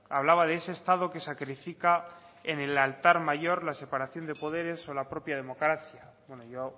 hablaba de ese estado que sacrifica en el altar mayor la separación de poderes o la propia democracia bueno yo